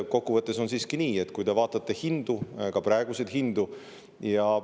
Kokkuvõttes on siiski nii, et vaadake hindu, ka praeguseid hindu.